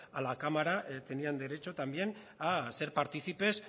a la cámara tenían derecho también a ser participes